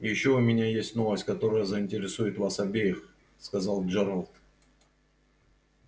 и ещё у меня есть новость которая заинтересует вас обеих сказал джералд